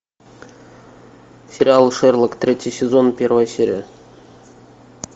сериал шерлок третий сезон первая серия